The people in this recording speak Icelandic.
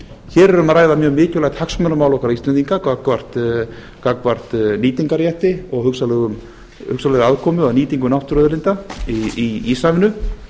hér er um að ræða mjög mikilvægt hagsmunamál okkar íslendinga gagnvart nýtingarrétti og hugsanlegri aðkomu á nýtingu náttúruauðlinda í íshafinu